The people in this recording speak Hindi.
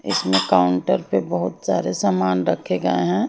इसमें काउंटर पे बहुत सारे सामान रखे गए हैं।